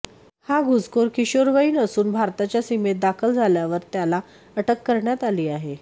हा घुसखोर किशोरवयीन असून भारताच्या सीमेत दाखल झाल्यावर त्याला अटक करण्यात आली आहे